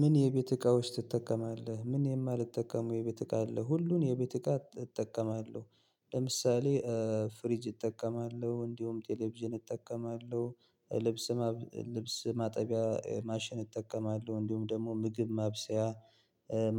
ምን የቤት እቃዎች ትጠቀማለህ? ምን የማልጠቀመው የቤት እቃ አለ? ሁሉን የቤት እቃ እጠቀማለሁ። ለምሳሌ ፍሪጅ እጠቀማለሁ እንዲሁም ቴሌቪዥን እጠቀማለሁ። ልብስ ማጠቢያ ማሽን እጠቀማለሁ እንዲሁም ደግሞ ምግብ ማብሰያ።